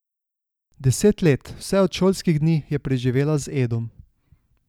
Deset let, vse od šolskih dni, je preživela z Edom.